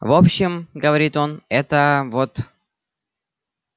в общем говорит он это вот